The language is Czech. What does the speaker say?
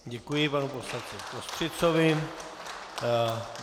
Děkuji panu poslanci Kostřicovi.